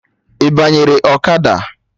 Ị banyere ọkada?